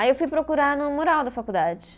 Aí eu fui procurar no mural da faculdade.